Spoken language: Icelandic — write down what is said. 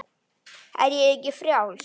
Er ég ekki frjáls?